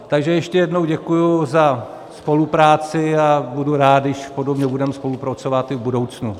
Takže ještě jednou děkuji za spolupráci a budu rád, když podobně budeme spolupracovat i v budoucnu.